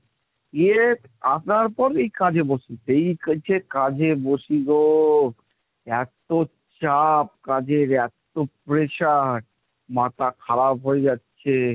গিয়ে আসার পর এই কাজে বসি, সেই থেকে কাজে বসি গো এত চাপ, কাজের এত pressure, মাথা খারাপ হয়ে যাচ্ছে।